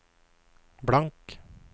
blank